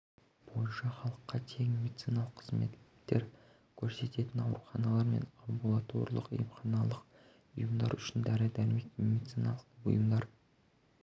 бойынша халыққа тегін медициналық қызметтер көрсететін ауруханалар мен амбулаторлық-емханалық ұйымдар үшін дәрі-дәрмек пен медициналық бұйымдар